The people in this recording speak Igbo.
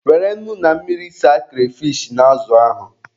Were nnu na mmiri saa kreyfish na azụ ahụ.